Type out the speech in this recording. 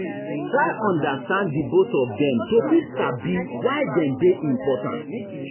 Try understand di both of them to fit sabi why them dey important